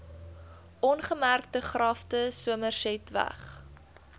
ongemerkte grafte somersetweg